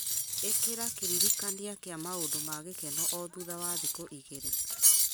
ĩkĩra kĩririkania kĩa maũndũ ma gĩkeno o thutha wa thikũ igĩrĩ